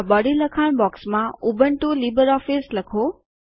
આ બોડી લખાણ બોક્સમાં ઉબુન્ટુ લિબ્રિઓફિસ લખો